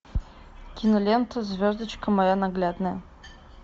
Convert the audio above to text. кинолента звездочка моя ненаглядная